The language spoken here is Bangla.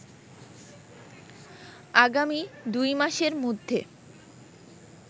আগামী দুই মাসের মধ্যে